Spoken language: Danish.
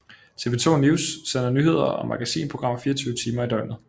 TV 2 NEWS sender nyheder og magasinprogrammer 24 timer i døgnet